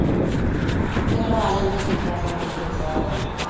ਚਲ ਆ ਜਾਣ ਗੇ ਚੰਗਾ ਸਗੋਂ